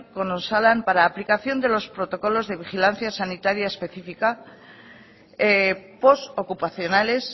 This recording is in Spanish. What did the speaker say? con osalan para aplicación de los protocolos de vigilancia sanitaria específica post ocupacionales